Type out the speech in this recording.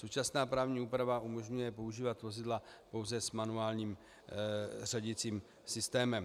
Současná právní úprava umožňuje používat vozidla pouze s manuálním řadicím systémem.